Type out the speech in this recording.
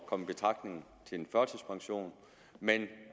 komme i betragtning til en førtidspension men